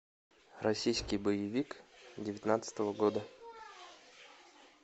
российский боевик девятнадцатого года